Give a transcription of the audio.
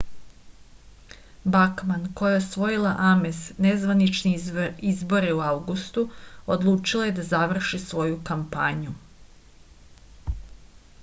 bakman koja je osvojila ames nezvanične izbore u avgustu odlučila je da završi svoju kampanju